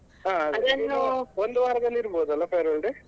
ಒಂದು ವಾರದಲ್ಲಿ ಇರಬಹುದಲ್ಲ farewell day ?